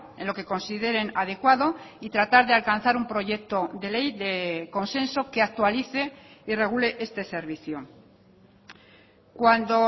en lo que consideren adecuado y tratar de alcanzar un proyecto de ley de consenso que actualice y regule este servicio cuando